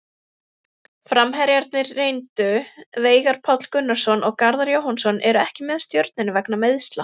Framherjarnir reyndu Veigar Páll Gunnarsson og Garðar Jóhannsson eru ekki með Stjörnunni vegna meiðsla.